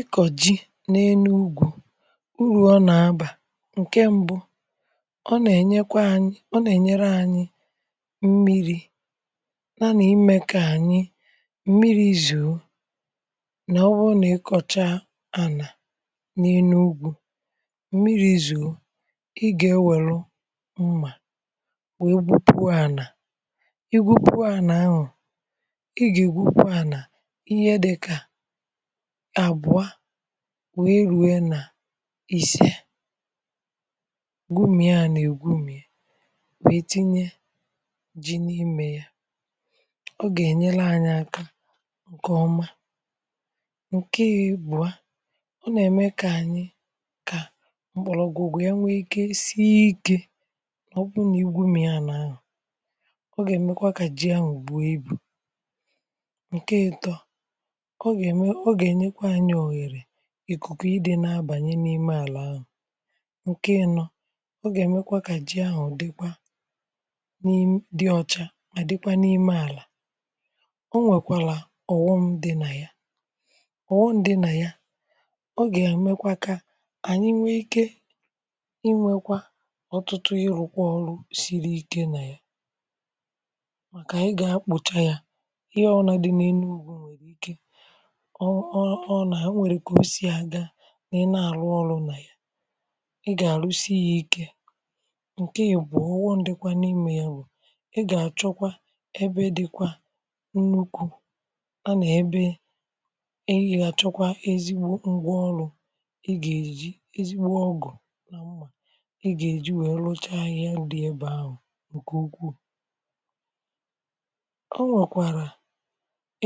ịkọ̀ ji̇ n’elu̇gwù, uru ọ nà-abà. ǹke mbụ, ọ nà-ènyekwa, ọ nà-ènyere ànyi mmiri̇, nà nà imė kà ànyi mmiri̇ zu̇. na ọ bụrụ nà ịkọ̀cha anà n’elu̇gwù mmiri̇ zu̇, ị gà ewère mmà wèe gwupu ànà, ịgwupu ànà aṅụ̀, ị gà ìgwupu ànà ihe dịkà wèe rue nà isiė gbumia nà ègbumia, wèe tinye ji n’ime ya. ọ gà-ènye anyị̇ aka ǹkè ọma, ǹke egbu a. ọ nà-ème kà ànyị, kà mkpọ̀lọ̀gwụgwụ ya nwee ike sie ikė. ọ bụ nà igwu̇ gbumia n’ahụ̀, ọ gà-èmekwa kà ji ya n’ùgbu ibù ikùkù, ịdị̇ na-abànye n’ime àlà ahụ̀ ǹke enọ̇. ọ gà-èmekwa kà jị ahụ̀ dịkwa dị ọcha, mà dịkwa n’ime àlà. o nwèkwàlà ọ̀wọṁ dị nà ya, ọ̀wọṅ dị nà ya. ọ gà-èmekwa kà ànyị nwee ike ịnwekwa ọ̀tụtụ, ịrụ̇kwa ọrụ siri ike nà ya, màkà ànyị gà-akpụcha ya. ihe ọnà dị n’enu ugbȯ nwèrè ike, ọọ ọ, na ha nwere ka ose a ga nà i na-àrụ ọrụ nà ya. ị gà àrụsị ya ike nke ya, bùọ ụwọ, ndịkwa n’ime ya. bụ̀ ị gà-àchọkwa ebe dịkwa nnukwu̇, a nà ebe ihe ha chọkwa ezigbo ngwa ọrụ̇, ị gà-èji ezigbo ọgụ̀, ị gà-èji wèe lọcha ahịhịa dị ebe ahụ̀ nke ukwuu. o nwòkwàrà